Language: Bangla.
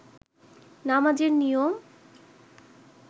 নামাজ এর নিয়ম